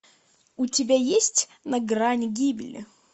у тебя есть на грани гибели